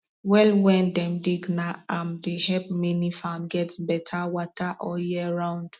well wen dem dig na am dey help many farm get betta wata all year round